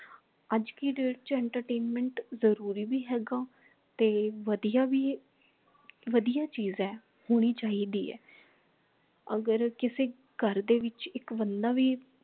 ਅਜੇ ਦੀ date ਚ entertainment ਜਰੂਰੀ ਭੀ ਹੇਗਾ ਤੇ ਵਧੀਆ ਭੀ ਵਧੀਆ ਚੀਜ ਹੈ ਹੋਣੀ ਚਾਹੀਦੀ ਹੈ ਅਗਰ ਕਿਸੇ ਘਰ ਦੇ ਵਿੱਚ ਇਕ ਬੰਦਾ ਭੀ